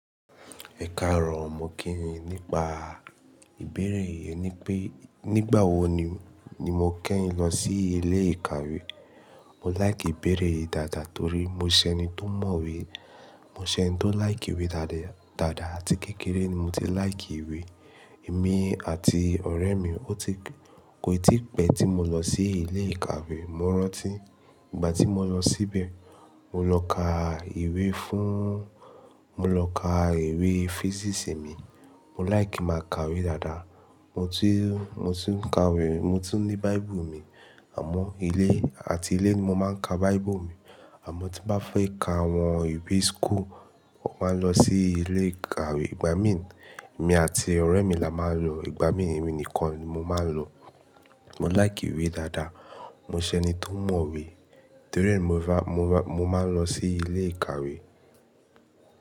Ẹ̀karọ̀ mo kíyin nípa ìbéèrè yẹn ni pé, nígbà wo ni, ni mo kẹ́yin lọ sí ilé ìkàwé. Mo like ìbéèrè yìí dáadáa torí mo ṣẹ ni tó mọ̀wé. Mo ṣẹ ni tó like ìwé dáadáa dàda àti kékeré ni mo ti like ìwé. Èmi àti ọ̀rẹ́ mi, ó ti, kò tí pẹ́ tí mo lọ sí ilé ìkàwé. Mo rántí ìgbà tí mo lọ síbẹ̀. Mo lọ ka ìwé fún, mo lọ ka ìwé physics mi. Mo like máa ka ìwé dáadáa. Mo ti, mo ti ń ka ìwé, mo ti ní Bible mi àmọ́ ilé, àti ilé ni mo máa ń ka Bible mi. Àmọ́ tí bá fẹ́ ka àwọn ìwé school, mo máa ń lọ sí ilé ìkàwé. Ìgbà mí, èmi àti ọ̀rẹ́ mi la máa ń lọ, ìgbà mí mi nìkan ni mo máa ń lọ. Mo like ìwé dáadáa. Mo ṣẹ ni tó mọ̀wé torí mo va, mo va, mo máa ń lọ sí ilé ìkàwé.